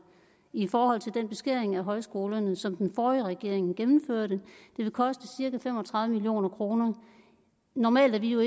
i forhold til den beskæring af højskolerne som den forrige regering gennemførte det vil koste cirka fem og tredive million kroner normalt er vi jo